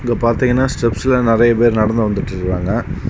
இங்க பாத்தீங்கன்னா ஸ்டெப்ஸ்ல நெறய பேர் நடந்து வந்துட்டுருக்கறாங்க.